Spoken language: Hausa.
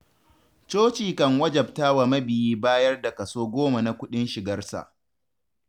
Coci kan wajabtawa mabiyi bayar da kaso goma na kuɗin shigarsa.